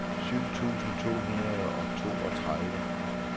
syv tusind to hundrede og toogtredive